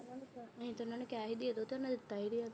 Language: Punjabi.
ਨਈ ਤਾਂ ਉਹਨਾਂ ਨੇ ਕਿਹਾ ਸੀ ਦੇ ਦੋ, ਉਹਨਾਂ ਨੇ ਦਿੱਤਾ ਈ ਨੀ।